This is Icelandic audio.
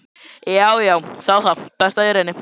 Jæja, þá það, best ég reyni.